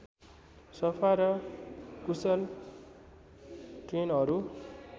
सफा र कुशल ट्रेनहरू